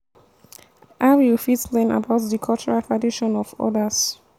how you fit learn about di cultural traditions of odas?